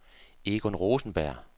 Egon Rosenberg